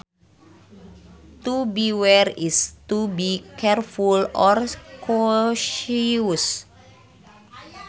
To beware is to be careful or cautious